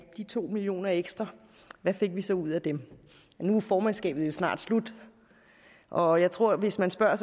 de to million kroner ekstra hvad fik vi så ud af dem nu er formandskabet jo snart slut og jeg tror at hvis man spørger